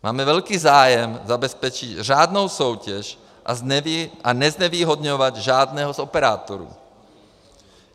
Máme velký zájem zabezpečit řádnou soutěž a neznevýhodňovat žádného z operátorů.